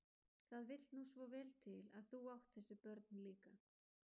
Það vill nú svo vel til að þú átt þessi börn líka.